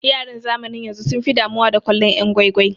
Yaran zamanin yanzu sun fi damuwa da kallon yan' gwai gwai.